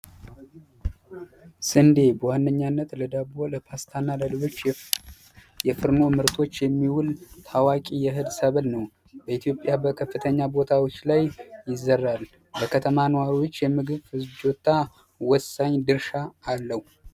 ስንዴ በዋነኛነት ለዳቦ ለፓስታ ለፍርኖ ምርቶች የሚውል ታዋቂ የእህል ሰብል ነው በኢትዮጵያ በከፍተኛ ቦታዎች ላይ ይዘራል በከተማ የምግብ ፍጆታ ወሳኝ ድርሻ አለው።